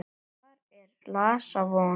Þar er laxa von.